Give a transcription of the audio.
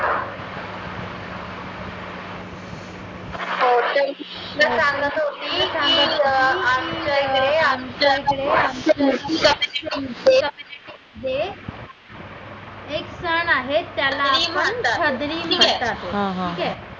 तुला सांगायचं होतं की आमच्याकडे नाही त्याला आपण